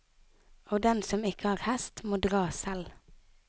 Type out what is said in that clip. Og den som ikke har hest, må dra selv.